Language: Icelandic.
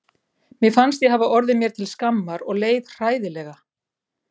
Mér fannst ég hafa orðið mér til skammar og leið hræðilega.